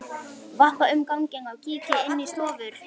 Vappa um ganginn og kíki inn í stofur.